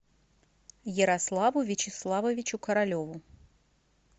ярославу вячеславовичу королеву